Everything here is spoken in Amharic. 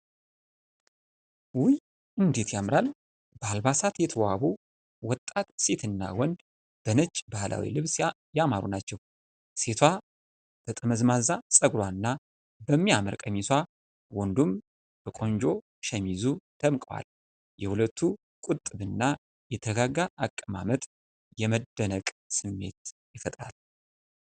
ውይ እንዴት ያምራል! በአልባሳት የተዋቡ ወጣት ሴትና ወንድ በነጭ ባህላዊ ልብስ ያማሩ ናቸው። ሴቷ በጠመዝማዛ ፀጉሯና በሚያምር ቀሚሷ፣ ወንዱም በቆንጆ ሸሚዙ ደምቀዋል። የሁለቱ ቁጥብና የተረጋጋ አቀማመጥ የመደነቅ ስሜት ይፈጥራል።